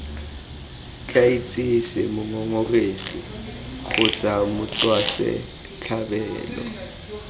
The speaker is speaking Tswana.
tla itsise mongongoregi kgotsa motswasetlhabelo